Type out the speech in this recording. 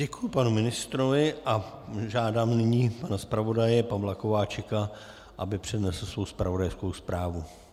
Děkuju panu ministrovi a žádám nyní pana zpravodaje Pavla Kováčika, aby přednesl svou zpravodajskou zprávu.